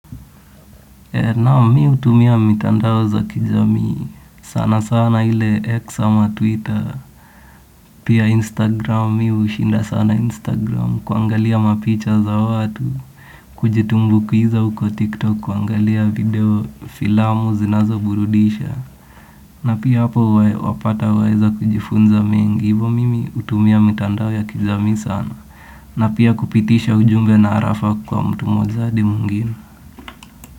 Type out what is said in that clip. Naam mimi hutumia mitandao za kijamii sana sana ile X ama Twitter. Pia Instagram mimi hushinda sana Instagram kuangalia mapicha za watu. Kujitumbukiza uko TikTok kuangalia video filamu zinazoburudisha. Na pia hapo wapata waeza kujifunza mengi. Hivo mimi hutumia mitandao ya kijamii sana. Na pia kupitisha ujumbe na arafa kwa mtu mmoja hadi mwingine.